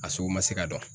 A sugu ma se ka dɔn